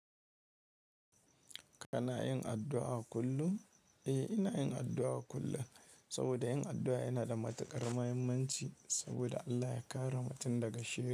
Kana yin addu'a kullum? Eh, ina yin addu'a kullum. Saboda yin addu'a yana da matuƙar muhimmanci saboda Allah ya kare mutum daga shi.